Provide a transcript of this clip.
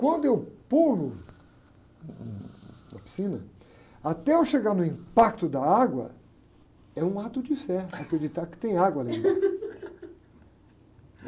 Quando eu pulo hum, na piscina, até eu chegar no impacto da água, é um ato de fé, acreditar que tem água ali embaixo